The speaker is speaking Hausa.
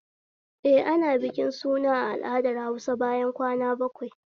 Eh, ana bikin suna a al'adar Hausa bayan kwana bakwai